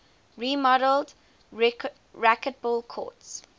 remodeled racquetball courts